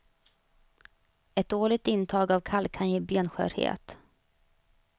Ett dåligt intag av kalk kan ge benskörhet.